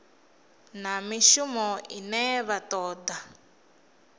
na mishumo ine vha toda